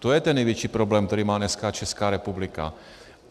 To je ten největší problém, který má dneska Česká republika.